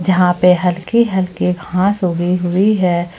जहां पे हल्की हल्की घास उगी हुई है।